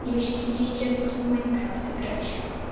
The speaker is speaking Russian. девочки я сейчас буду в майнкрафт играть